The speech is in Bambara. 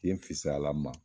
Yen fisayala n ma.